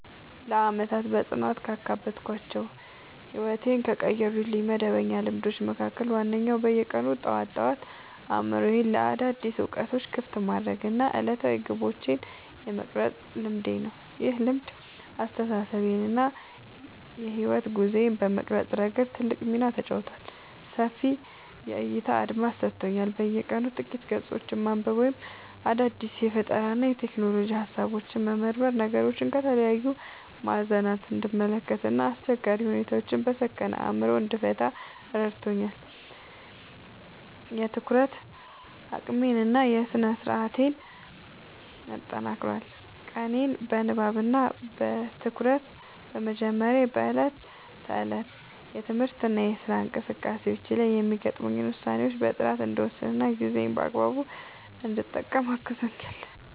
ለዓመታት በጽናት ካዳበርኳቸው እና ሕይወቴን ከቀየሩልኝ መደበኛ ልማዶች መካከል ዋነኛው በየቀኑ ጠዋት ጠዋት አእምሮዬን ለአዳዲስ እውቀቶች ክፍት የማድረግ እና ዕለታዊ ግቦቼን የመቅረጽ ልማዴ ነው። ይህ ልማድ አስተሳሰቤን እና የሕይወት ጉዞዬን በመቅረጽ ረገድ ትልቅ ሚና ተጫውቷል፦ ሰፊ የዕይታ አድማስ ሰጥቶኛል፦ በየቀኑ ጥቂት ገጾችን ማንበብ ወይም አዳዲስ የፈጠራና የሎጂክ ሃሳቦችን መመርመር ነገሮችን ከተለያዩ ማዕዘናት እንድመለከት እና አስቸጋሪ ሁኔታዎችን በሰከነ አእምሮ እንድፈታ ረድቶኛል። የትኩረት አቅሜን እና ስነ-ስርዓቴን አጠናክሯል፦ ቀኔን በንባብ እና በትኩረት በመጀመሬ በዕለት ተዕለት የትምህርትና የሥራ እንቅስቃሴዎቼ ላይ የሚገጥሙኝን ውሳኔዎች በጥራት እንድወስንና ጊዜዬን በአግባቡ እንድጠቀም አግዞኛል።